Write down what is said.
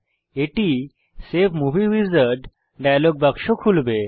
এটি save movie wizard কে খুলবে